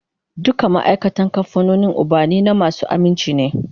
Dukan ma'aikatan kamfanin ubannina masu aminci ne